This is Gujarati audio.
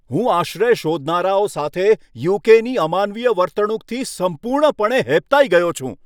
હું આશ્રય શોધનારાઓ સાથે યુ.કે.ની અમાનવીય વર્તણૂકથી સંપૂર્ણપણે હેબતાઈ ગયો છું.